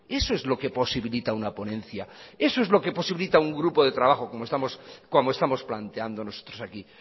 eso es lo que posibilita una ponencia eso es lo que posibilita un grupo de trabajo como estamos planteando nosotros aquí